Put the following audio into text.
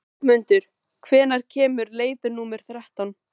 slefmundur, hvenær kemur leið númer þrettán?